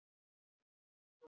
Hún smíðaði vefinn ásamt öðrum.